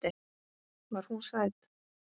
Var hún sæt?